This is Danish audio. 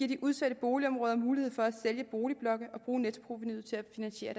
de udsatte boligområder mulighed for at sælge boligblokke og bruge nettoprovenuet til at finansiere